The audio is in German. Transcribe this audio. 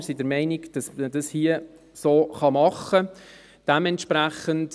Wir sind der Meinung, dass man dies hier so machen kann.